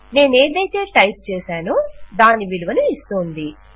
నేనేదైతే type చేసానో దాని విలువను ఇస్తోంది